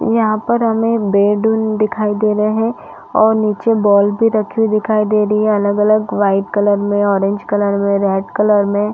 यहाँ पर हमें बेड दिखाई दे रहे है और नीचे बॉल भी रखी हुई दिखाई दे रही है अलग- अलग वाइट कलर में ऑरेंज कलर में रेड कलर में--